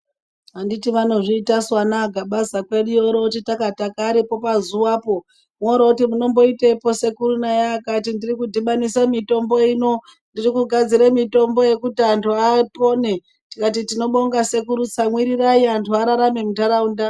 Anditi vanozviitasu ana aGabaza kweduyo, vorooti takataka varipo pazuwapo, worooti munomboitei sekuru nai, akati ndiri kudhibanisa mitombo ino, ndirikugadzira mitombo yekuti antu apone, tikati tinobonga sekuru tsamwirirai antu ararame muntaraunda.